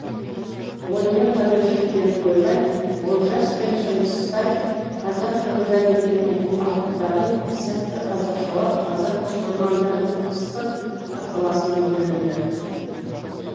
онымен ғана шектеліп қалмай олжас пен шыңғыстай қазақ қырғыз әдебиетінің алыптарын сәтті қазақшалап қазақ оқырманының ыстық ықыласына бөленді